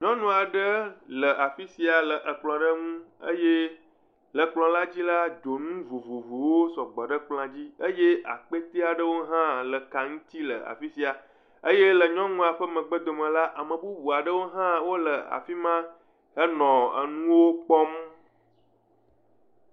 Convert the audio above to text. Nyɔnu aɖe le afi sia le ekplɔ aɖe ŋu, eye le kplɔ la dzi la, donu vovovowo sɔgbɔ ɖe ekplɔ dzi eye akpete aɖe hã le ka ŋu le afi sia, eye le nyɔnua ƒe megbedome la, ame bubu aɖewo hã le afi sia hele nuwo kpɔm.